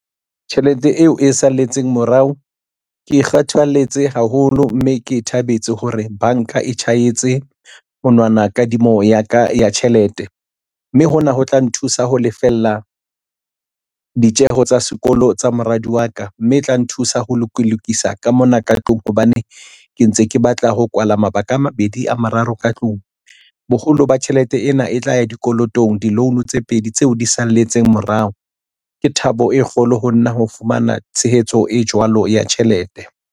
Tjhelete eo e salletseng morao ke kgathaletse haholo, mme ke e thabetse hore banka e tjhahetse monwana kadimo ya ka ya tjhelete mme hona ho tla nthusa ho lefella ditjeho tsa sekolo tsa moradi wa ka mme e tla nthusa ho lokisa ka mona ka tlung hobane ke ntse ke batla ho kwala mabaka a mabedi a mararo ka tlung. Boholo ba tjhelete ena e tla ya dikolotong di-loan tse pedi tseo di salletse morao. Ke thabo e kgolo ho nna ho fumana tshehetso e jwalo ya tjhelete.